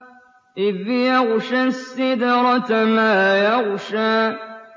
إِذْ يَغْشَى السِّدْرَةَ مَا يَغْشَىٰ